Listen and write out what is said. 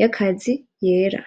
yakazi yera.